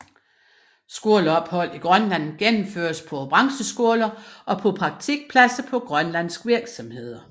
Skoleophold i Grønland gennemføres på brancheskolerne og på praktikpladser på grønlandske virksomheder